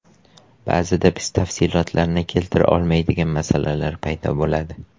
Ba’zida biz tafsilotlarini keltira olmaydigan masalalar paydo bo‘ladi.